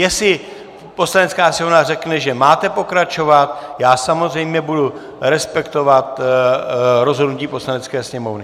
Jestli Poslanecká sněmovna řekne, že máte pokračovat, já samozřejmě budu respektovat rozhodnutí Poslanecké sněmovny.